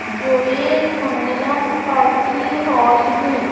जो एक Mangalam party hall है।